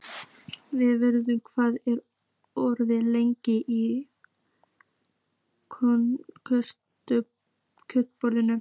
Vörður, hvað er opið lengi í Kjötborg?